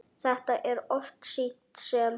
Þetta er oft sýnt sem